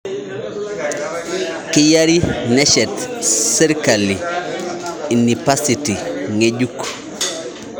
Keyiari neshet serikali inipasiti ngejuk